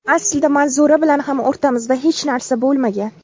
Aslida Manzura bilan ham o‘rtamizda hech narsa bo‘lmagan.